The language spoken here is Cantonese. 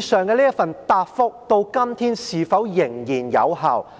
上述答覆到今天是否仍然有效？